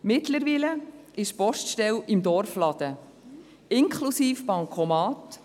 Mittlerweile ist die Poststelle im Dorfladen, inklusive Bancomat.